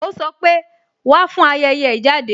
Ó sọ pé "Wá fún ayẹyẹ ìjáde